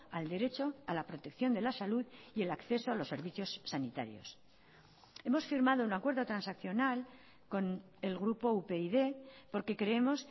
al derecho a la protección de la salud y el acceso a los servicios sanitarios hemos firmado un acuerdo transaccional con el grupo upyd porque creemos